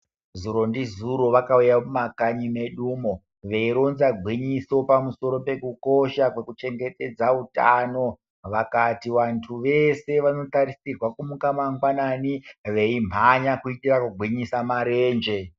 Zuro ndizuro vakauya muma kanyi medumwo veironza gwinyiso pamusoro pekukosha kwekuchengetedza utano, vakati vandu veshe vanotarisirwa kumuka mangwanani veimhanya kuitira kugwinyisa marenje.